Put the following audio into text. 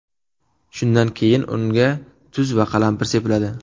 Shundan keyin unga tuz va qalampir sepiladi.